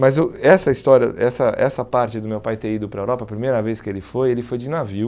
Mas eu essa história, essa essa parte do meu pai ter ido para a Europa, a primeira vez que ele foi, ele foi de navio.